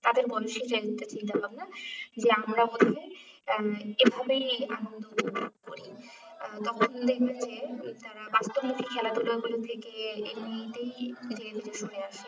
তাদের মনে সেই দিয়ে আমরা এইভাবেই আনন্দ উপভোগ করি আহ তখন দেখবে তারা বাড়িতে বসে খেলাধুলা করার থেকে এমনিতেই